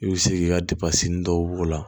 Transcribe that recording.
I bɛ se k'i ka depansi dɔw b'o la